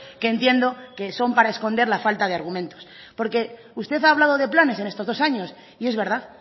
que entiendo que son para esconder la falta de argumentos porque usted ha hablado de planes en estos dos años y es verdad